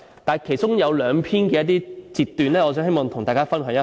但是，其中有兩篇我希望與大家分享一下。